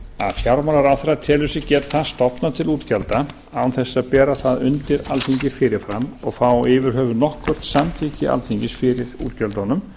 fjármálaráðherra telur sig geta stofnað til útgjalda án þess að bera það undir alþingi fyrir fram og fá yfir höfuð nokkurt samþykki alþingis fyrir útgjöldunum